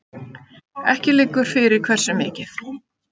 Ekki liggur fyrir hversu mikið